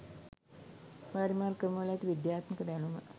වාරිමාර්ග ක්‍රමවල ඇති විද්‍යාත්මක දැනුම